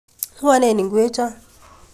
Ngwonen ikwechon.